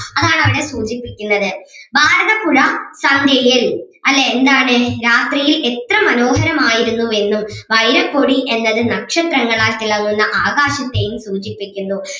അതാണവിടെ സൂചിപ്പിക്കുന്നത് ഭാരതപ്പുഴ സന്ധ്യയിൽ അല്ലേ എന്താണ് രാത്രിയിൽ എത്ര മനോഹരം ആയിരുന്നു എന്നും വൈരപ്പൊടി എന്നത് നക്ഷത്രങ്ങളാൽ തിളങ്ങുന്ന ആകാശത്തേയും സൂചിപ്പിക്കുന്നു.